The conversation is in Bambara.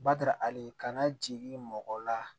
Bada ali kana jigin mɔgɔ la